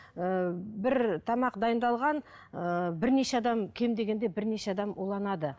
ыыы бір тамақ дайындалған ыыы бірнеше адам кем дегенде бірнеше адам уланады